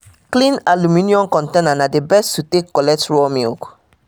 clean aluminium container na the best to take collect raw milk